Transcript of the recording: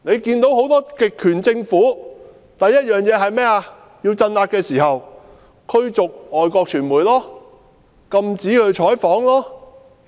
很多極權政府要鎮壓時，第一件事便是驅逐外國傳媒，禁止採訪。